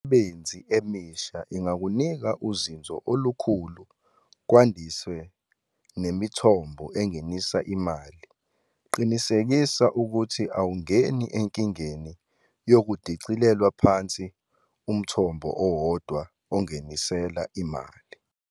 Imisebenzi emisha ingakunika uzinzo olukhulu kwandise nemithombo engenisa imali qinisekisa ukuthi awungeni enkingeni yokudicilelwa phansi umthombo owodwa okungenisela imali.